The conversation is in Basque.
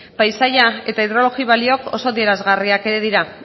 paisaia eta hidrologia balioak oso adierazgarriak dira